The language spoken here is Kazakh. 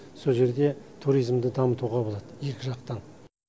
сол жерде туризмді дамытуға болады екі жақтан